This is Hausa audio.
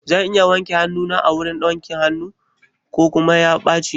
Zan iya wanke hanuna a wurin wanke hanun nan ko kuma ya ɓaci?